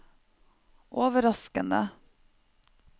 overraskende